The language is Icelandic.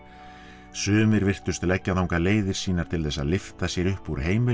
sumir virtust leggja þangað leiðir sínar til þess að lyfta sér upp úr